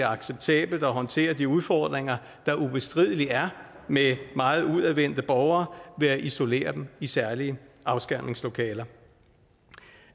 acceptabelt at håndtere de udfordringer der ubestrideligt er med meget udadvendte borgere ved at isolere dem i særlige afskærmningslokaler